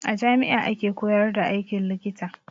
A jami'a ake koyar da aikin likita.